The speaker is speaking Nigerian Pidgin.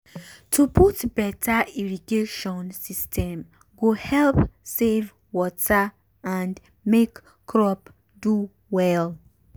to put beta irrigation system go help save water and make crop do well